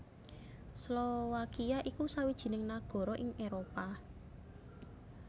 Slowakia iku sawijining nagara ing Éropah